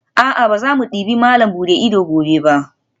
A'a, ba za mu debi malam buɗe ido gobe ba